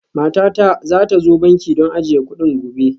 Matata za ta zo banki don ajiye kuɗin gobe